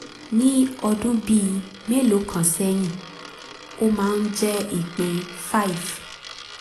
ní ọdún bíi mélòó kan sẹ́yìn ó máa ń jẹ́ ìpín five